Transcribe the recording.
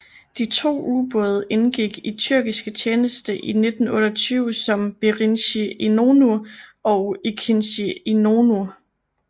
De to ubåde indgik i tyrkisk tjeneste i 1928 som Birinci İnönü og İkinci İnönü